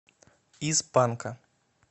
из панка